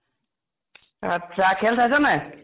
আত্চ্ছা খেল চাইছ নে নাই ?